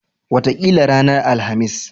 Wataƙila ranar Alhamis.